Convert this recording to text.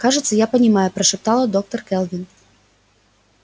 кажется я понимаю прошептала доктор кэлвин